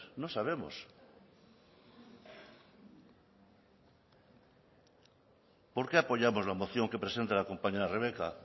no sabemos por qué apoyamos la moción que presenta la compañera rebeka